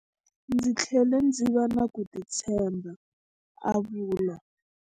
Ndzi tlhele ndzi va na ku titshemba, a vula.